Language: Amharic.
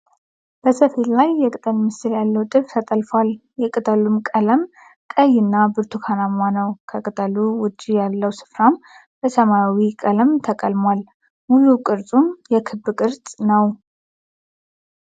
በሰፌድ ላይ የቅተል ምልክት ያለው ጥልፍ ተጠልፏል። የቅጠሉም ቀለም ቀይ እና ብርቱካናማ ነው። ከቅጠሉ ዉጪ ያለው ስፍራም በሰማያዊ ቀለም ተቀልሟል። ሙሉ ቅርጹም የክብ ቅርጽ ነው።